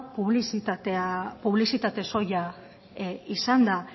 publizitate soila izan da